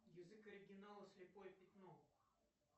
язык оригинала слепое пятно